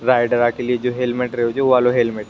rider के लिए जो हेलमेट रव जो वो वालों हेलमेट --